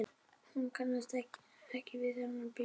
Hún kannast ekki við þennan pilt.